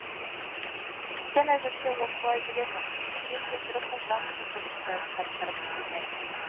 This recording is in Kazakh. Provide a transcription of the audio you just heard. сен әзірше осылай жүре тұр мен есірік ұлтан құлдың жайын таптырып қайтайын